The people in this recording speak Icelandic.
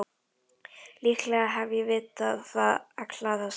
Líklega hef ég vitað það alla þessa mánuði.